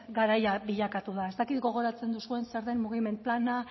garaia bilakatu da ez dakit gogoratzen duzuen zer den mugiment plana